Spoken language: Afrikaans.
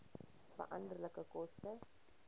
veranderlike koste